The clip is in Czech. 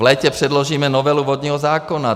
V létě předložíme novelu vodního zákona.